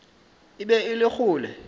e be e le kgole